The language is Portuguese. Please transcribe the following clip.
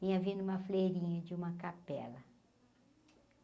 Vinha vindo uma freirinha de uma capela.